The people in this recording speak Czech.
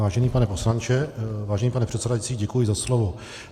Vážený pane poslanče - vážený pane předsedající, děkuji za slovo.